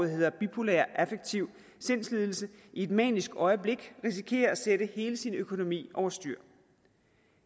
hedder bipolær affektiv sindslidelse i et manisk øjeblik risikerer at sætte hele sin økonomi over styr